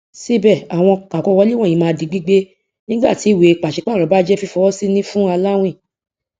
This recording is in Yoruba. síbẹ àwọn akọwọlé wọnyìí máa di gbígbé nígbàtí ìwée pàṣípààrọ bá jẹ fífọwọsí ní fún aláwìn